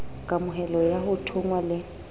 kamohelo ya ho thonngwa le